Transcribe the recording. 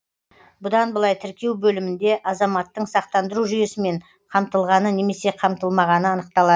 бұдан былай тіркеу бөлімінде азаматтың сақтандыру жүйесімен қамтылғаны немесе қамтылмағаны анықталады